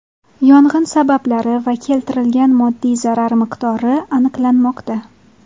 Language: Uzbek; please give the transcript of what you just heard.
Yong‘in sabablari va keltirilgan moddiy zarar miqdori aniqlanmoqda.